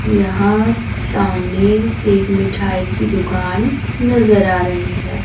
यहां सामने एक मिठाई की दुकान नजर आ रही है।